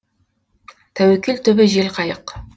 тәуекел түбі жел қайық